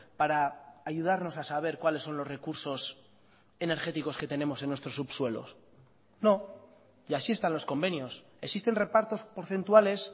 para ayudarnos a saber cuáles son los recursos energéticos que tenemos en nuestros subsuelos no y así están los convenios existen repartos porcentuales